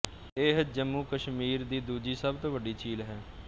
ਇਹ ਜੰਮੂਕਸ਼ਮੀਰ ਦੀ ਦੂਜੀ ਸਭ ਤੋਂ ਵੱਡੀ ਝੀਲ ਹੈ